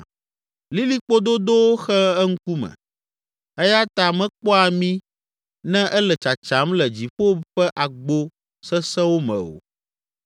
Lilikpo dodowo xe eŋkume eya ta mekpɔa mí ne ele tsatsam le dziƒo ƒe agbo sesẽwo me o.’